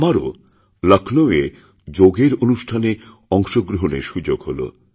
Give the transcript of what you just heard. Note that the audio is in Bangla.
আমারও লক্ষ্ণৌয়ে যোগের অনুষ্ঠানে অংশগ্রহণের সুযোগহল